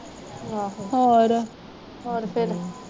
ਆਹੋ ਹੋਰ ਫਿਰ